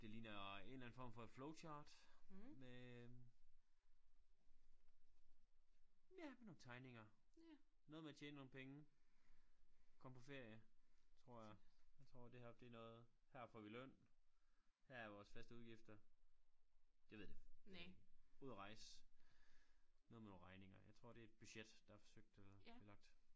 Det ligner en eller anden form for et flowchart med ja med nogle tegninger noget med at tjene nogle penge komme på ferie tror jeg jeg tror det heroppe det noget her får vi løn her er vores faste udgifter det ved det ud og rejse noget med nogle regninger jeg tror det et budget der er forsøgt at blive lagt